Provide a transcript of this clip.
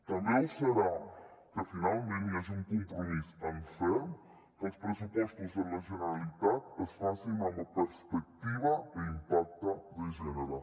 també ho serà que finalment hi hagi un compromís en ferm que els pressupostos de la generalitat es facin amb perspectiva i impacte de gènere